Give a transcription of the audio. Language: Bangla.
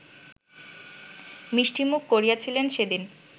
মিষ্টিমুখ করিয়েছিলেন সেদিন